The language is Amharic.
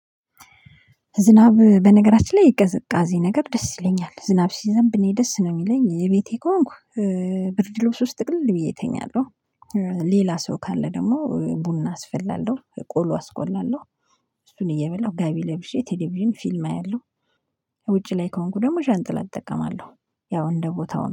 ዝናብ በነገራችን ላይ ቅዝቃዜ ነገር ደስ ይለኛል ዝናብ ሲዘንብ እኔ ደስ ነው የሚለኝ የቤቴ ከሆንኩ ብርድ ልብስ ውስጥ ጥቅልል ብዬ እተኛለሁ። ሌላ ሰው ካለ ደግሞ ቡና አስፈላለሁ ቆሎ አስቆላለሁ። እሱን እየበላሁ ጋቢ ለብሼ ቴሌቪዥን ፊልም አያለሁ። ውጪ ላይ ከሆንኩ ደግሞ ዣንጥላ አጠቀማለሁ። ያው እንደ ቦታው